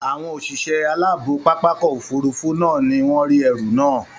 Àwọn òṣìṣẹ́ aláàbò pápákọ̀ òfurufú náà ni wọ́n rí ẹrù máà